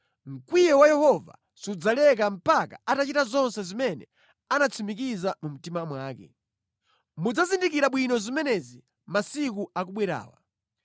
Mkwiyo wa Yehova sudzaleka mpaka atachita zonse zimene anatsimikiza mu mtima mwake. Mudzazizindikira bwino zimenezi masiku akubwerawa.”